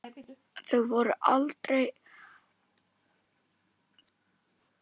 Þau voru heldur aldrei hrædd.